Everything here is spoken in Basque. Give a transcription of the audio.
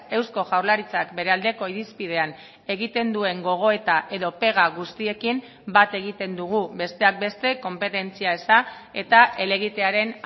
eusko jaurlaritzak bere aldeko irizpidean egiten duen gogoeta edo pega guztiekin bat egiten dugu besteak beste konpetentzia eza eta helegitearen